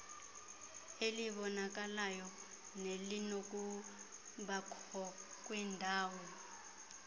elibonakalayo nelinokubakho kwindalo